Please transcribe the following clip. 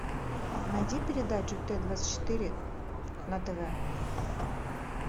найди передачу т двадцать четыре на тв